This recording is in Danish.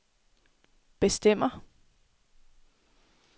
bestemmer